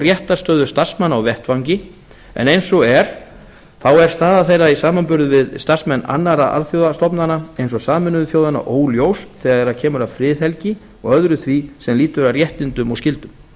réttarstöðu starfsmanna á vettvangi en eins og er þá er staða þeirra í samanburði við starfsmenn annarra alþjóðastofnana eins og sameinuðu þjóðanna óljós þegar kemur að friðhelgi og öðru því sem lýtur að réttindum og skyldum